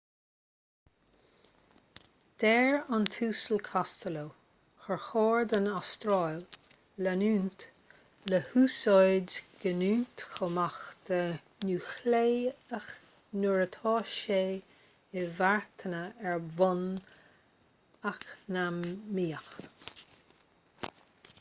deir an tuasal costello gur chóir don astráil leanúint le húsáid giniúint cumhachta núicléiche nuair atá sé inmharthana ar bhonn eacnamaíoch